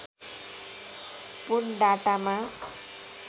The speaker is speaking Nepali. पुन डाटामा